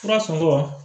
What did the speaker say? Fura sɔngɔ